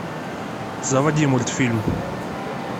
заводи мультфильм